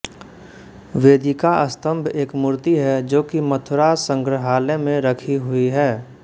वेदिका स्तम्भ एक मूर्ति है जो कि मथुरा संग्रहालय में रखि हुइ है